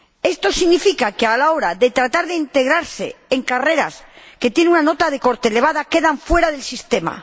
Esto significa que, a la hora de tratar de integrarse en carreras que tienen una nota de corte elevada, quedan fuera del sistema.